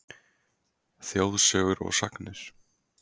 Þjóðsögur og sagnir